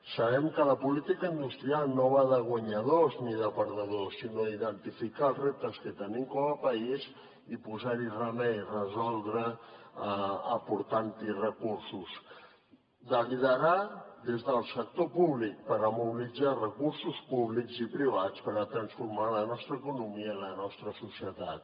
sabem que la política industrial no va de guanyadors ni de perdedors sinó d’identificar els reptes que tenim com a país i posar hi remei resoldre aportant hi recursos de liderar des del sector públic per mobilitzar recursos públics i privats per a transformar la nostra economia i la nostra societat